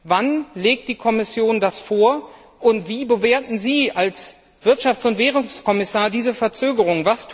Wann legt die Kommission diesen Vorschlag vor? Und wie bewerten Sie als Wirtschafts und Währungskommissar diese Verzögerung?